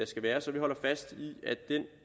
skal være så vi holder fast